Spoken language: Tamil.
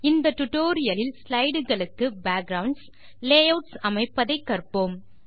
இந்த டியூட்டோரியல் லில் ஸ்லைடுகளுக்கு பேக்குரவுண்ட்ஸ் லேயூட்ஸ் அமைப்பதை கற்போம்